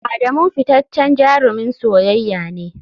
Adamu fitaccen jarumin soyayya ne.